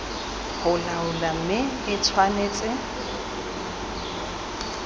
go laola mme e tshwanetse